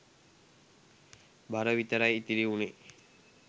බර විතරයි ඉතිරි වුනේ.